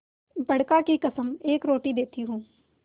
बड़का की कसम एक रोटी देती हूँ